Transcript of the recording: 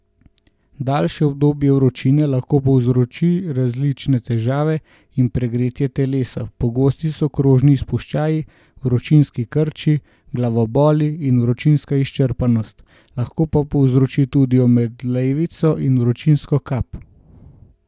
Daljše obdobje vročine lahko povzroči različne težave in pregretje telesa, pogosti so kožni izpuščaji, vročinski krči, glavoboli in vročinska izčrpanost, lahko pa povzroči tudi omedlevico in vročinsko kap.